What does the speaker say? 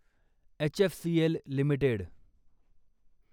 HFCL limited